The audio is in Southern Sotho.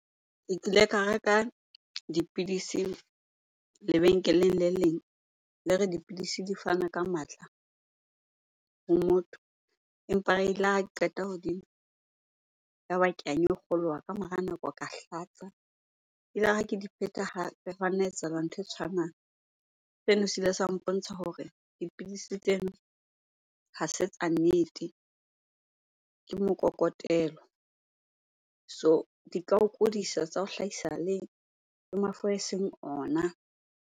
Ke kile ka reka dipidisi lebenkeleng le leng. Le re dipidisi di fana ka matla ho motho empa elare ha ke qeta ho di nwa, yaba ka nyokgoloha. Ka mora nako ka hlatsa. Elare ha ke di pheta hape hwa nna etsahala ntho e tshwanang. Seno se ile sa mpontsha hore dipidisi tseno ha se tsa nnete ke mokokotelo. So di ka o kudisa, tsa o hlahisa le mafu eseng ona.